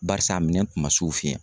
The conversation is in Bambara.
Barisa a minɛn tun ma s'o fin ye